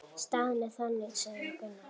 Staðan er þannig, sagði Gunnar.